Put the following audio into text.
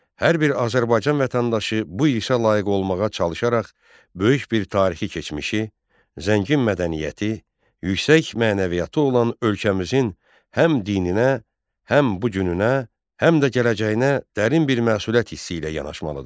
Hər bir Azərbaycan vətəndaşı bu irsə layiq olmağa çalışaraq böyük bir tarixi keçmişi, zəngin mədəniyyəti, yüksək mənəviyyatı olan ölkəmizin həm dininə, həm bu gününə, həm də gələcəyinə dərin bir məsuliyyət hissi ilə yanaşmalıdır.